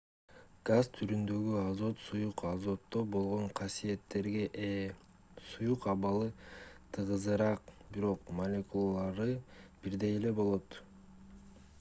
газ түрүндөгү азот суюк азотто болгон касиеттерге ээ суюк абалы тыгызыраак бирок молекулалары бирдей эле болот